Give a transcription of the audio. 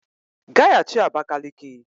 Gaghachi Abakaliki!